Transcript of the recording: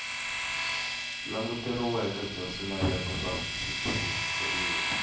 languteriweke bya swilaveko swa switshuriwa